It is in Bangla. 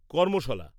কর্মশালা